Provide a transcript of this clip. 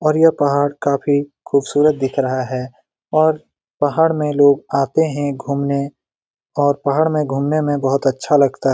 और काफ़ी खुबसूरत दिख रहा है और पहाड़ में लोग आते है घुमने और पहाड़ में घुमने में बहुत अच्छा लगता है ।